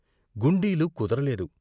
గుండీలు కుదరలేదు.